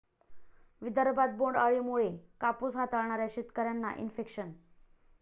विदर्भात बोंड अळीमुळे कापूस हाताळणाऱ्या शेतकऱ्यांना इन्फेक्शन